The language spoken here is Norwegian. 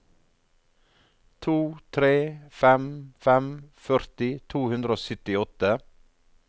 to tre fem fem førti to hundre og syttiåtte